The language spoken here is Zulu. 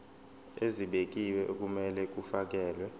ezibekiwe okumele kufakelwe